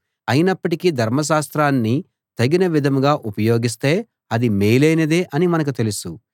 అయినప్పటికీ ధర్మశాస్త్రాన్ని తగిన విధంగా ఉపయోగిస్తే అది మేలైనదే అని మనకు తెలుసు